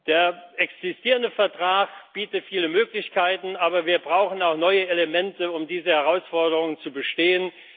Der existierende Vertrag bietet viele Möglichkeiten, aber wir brauchen auch neue Elemente, um diese Herausforderungen zu bestehen.